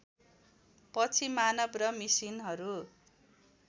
पछि मानव र मिसिनहरू